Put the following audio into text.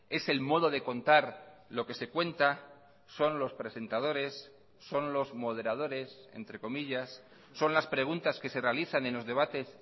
es el modo de contar lo que se cuenta son los presentadores son los moderadores entre comillas son las preguntas que se realizan en los debates